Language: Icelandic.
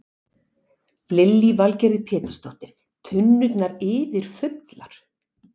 Lillý Valgerður Pétursdóttir: Tunnurnar yfirfullar?